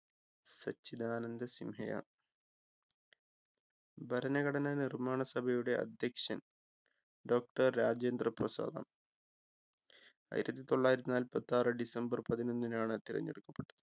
സച്ചിതാനന്ദ സിൻഹയാണ്. ഭരണഘടനാ നിർമ്മാണ സഭയുടെ അധ്യക്ഷൻ doctor രാജേന്ദ്ര പ്രസാദ് ആണ് ആയിരത്തി തൊള്ളായിരത്തി നാല്പത്താറ് ഡിസംബർ പതിനൊന്നിനാണ് തിരഞ്ഞെടുക്കപ്പെട്ടത്.